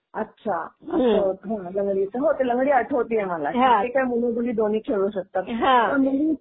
अच्छा असं. हो लंगडी, हो ती लंगडी आठवतीये मला. ती काय मुलं मुली दोन्ही खेळू शकतात. पण मुली